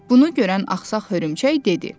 Bunu görən axsaq hörümçək dedi: